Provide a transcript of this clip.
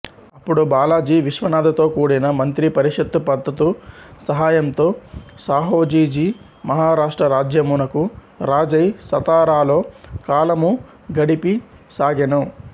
అప్పడు బాలజీవిశ్వనాథ తోకూడిన మంత్రి పరిషత్తు మద్దతు సహాయంతో సాహూజీ మహారాష్ట్రరాజ్యమునకు రాజై సతారాలో కాలముగడిపసాగెను